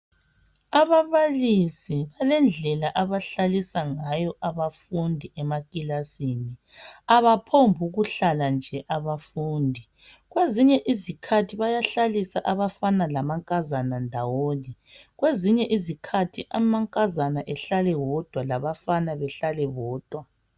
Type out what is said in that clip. Ababalisi balendlela abahlalisa ngayo abafundi emakilisini. Abaphombi ukuhlala nje abafundi. Kwezinye isikhathi bayahlalisa abafana lamankazana ndawonye. Kwezinye izikhathi amankazana behlale bodwa labafana behlale bodwa.